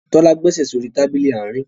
Tola gbèsè so rí Tábìlì Àárín.